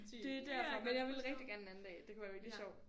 Det er derfor men jeg vil rigtig gerne en anden dag det kunne være virkelig sjovt